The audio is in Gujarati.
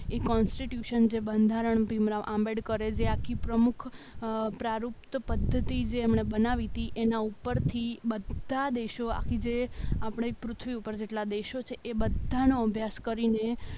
એ કોન્સ્ટિટ્યૂશન જે બંધારણ ભીમ રાવ આંબેડકર જે આખી પ્રમુખ અ પદ્ધતિ જે એમણે બનાવી હતી એના ઉપરથી બધા દેશો આખી જોઈએ આપણી પૃથ્વી ઉપર જેટલા દેશો છે એ બધાનો અભ્યાસ કરીને